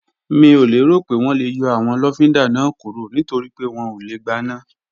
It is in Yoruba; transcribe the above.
Mi ò lérò pé wọ́n lè yọ àwọn lọ́fíndà náà kúrò nítorípé wọn ò lè gbaná